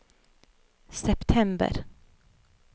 september